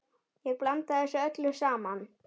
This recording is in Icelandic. Ég blanda þessu öllu saman.